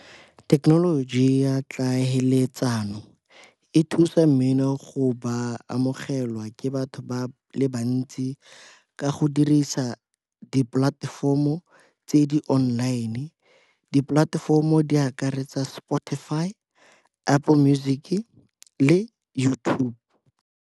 Thekenoloji ya tlhaeletsano e thusa mmino go ba amogelwa ke batho ba le bantsi ka go dirisa dipolatefomo tse di-online. Dipolatefomo di akaretsa Spotify, Apple Music-e le YouTube.